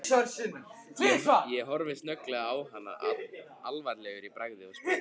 Ég horfi snögglega á hana alvarlegur í bragði og spyr